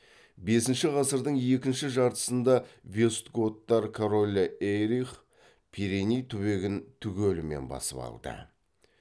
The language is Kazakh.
бесінші ғасырдың екінші жартысында вестготтар королі эйрих пиреней түбегін түгелімен басып алды